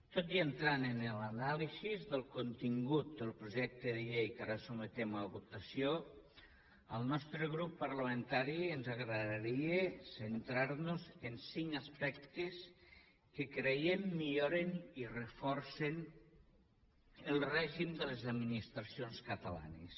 tot i entrar en l’anàlisi del contingut del projecte de llei que ara sotmetem a votació al nostre grup parlamentari ens agradaria centrar nos en cinc aspectes que creiem que milloren i reforcen el règim de les administracions catalanes